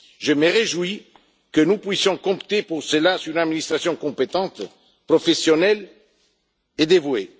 Je me réjouis que nous puissions compter pour ce faire sur une administration compétente, professionnelle et dévouée.